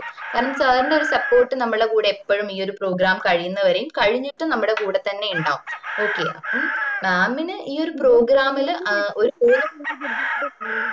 കാരണം sir ന്റെ ഒരു support നമ്മൾടെ കൂടെ എപ്പഴും ഈ ഒര് program കഴിയുന്നവരേയും കഴിഞ്ഞിട്ടും നമ്മൾടെ കൂടെ തന്നെ ഉണ്ടാവും okay അപ്പം mam ന് ഈ ഒരു program ല്